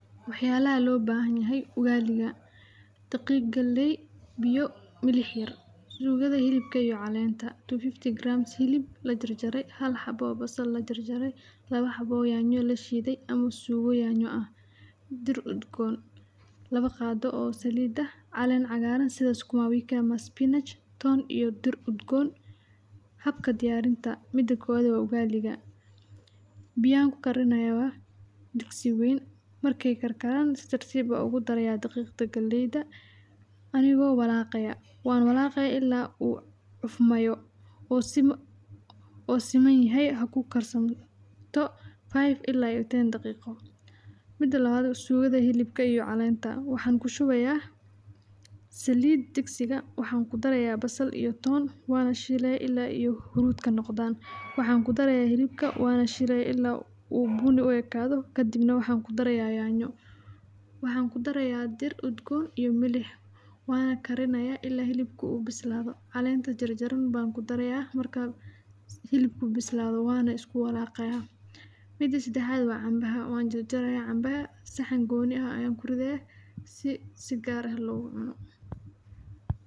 Waa cunto aad u macaan oo caan ku ah guud ahaan bariga Afrika, gaar ahaan dalka Kenya, Tanzania, iyo Soomaaliya, waxaana lagu darsadaa maro badan sida suugo, hilib, ama digir, waxaana lagu cunaa qalabka loo yaqaan ama gacanta si toos ah, waxayna leedahay dareere macaan oo ay ku jirto xoogaa dhadhan adag marka la cuno, laakiin dhadhan fiican ayay ku leedahay marka ay weheliyaan maro kale, sida suugo digaag ama maraq hilib lo' ah, waxaana jirta qofka ugu badan ee ku xiiseeya ugali inay cunaan maalin kasta sababtoo ah waa cunto la fududeyn karo oo nafaqo badan leh, waxaana lagu kariyaa si fudud marka la rabo in la sameeyo.